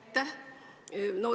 Aitäh!